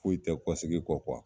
Foyi tɛ kɔ segi kɔ